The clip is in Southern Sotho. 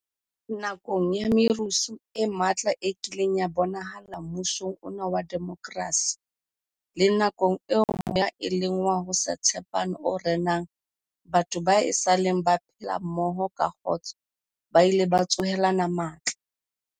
Nakong ya merusu e matla e kileng ya bonahala mmusong ona wa demokrasi, le nakong eo moya e leng wa ho se tshepane o renang, batho bao esaleng ba phela mmoho ka kgotso ba ile ba tsohelana matla.